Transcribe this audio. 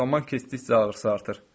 Zaman keçdikcə ağrısı artır.